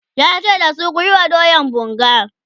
yace da su "kuyi wa doyan bunga!"